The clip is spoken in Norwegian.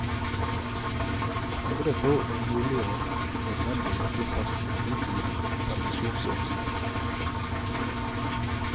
Andre tror det er mulig og nødvendig å tilpasse seg utvidede permisjonsordninger.